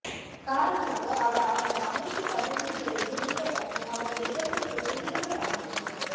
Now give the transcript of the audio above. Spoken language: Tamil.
காரணமாக அவர் அவரது அமைச்சுப் பதவியில் இருந்து நீக்கப்பட்டு அவரது இடத்திற்குப் புதியதோர் அமைச்சர்